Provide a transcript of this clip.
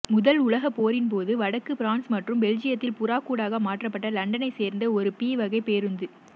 முதல் உலகப்போரின்போது வடக்கு பிரான்சு மற்றும் பெல்ஜியத்தில் புறாக்கூடாக மாற்றப்பட்ட லண்டனைச் சேர்ந்த ஒரு பி வகை பேருந்து